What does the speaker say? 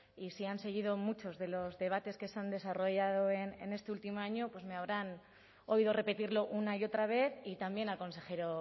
y si han seguido muchos de los debates que se han desarrollado en este último año pues me habrán oído repetirlo una y otra vez y también al consejero